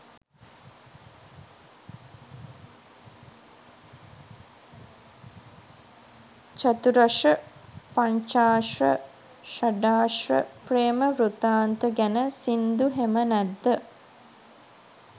චතුරශ්‍ර පංචාශ්‍ර ශඩාශ්‍ර ප්‍රේම වෘත්තාන්ත ගැන සින්දු හෙම නැද්ද?